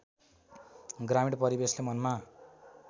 ग्रामीण परिवेशले मनमा